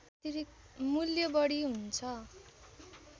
मूल्य बढी हुन्छ